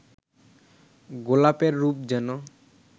গোলাপের রূপ যেন